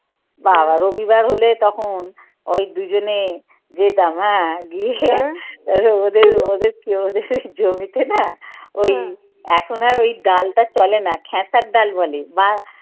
বাবা, রবিবার হলে তখন ওই দুজনে যেতাম হ্যাঁ গিয়ে ওদের ওদের জমিতে না ওই এখন আর ওই ডালটা চলে না খেসার ডাল বলে বা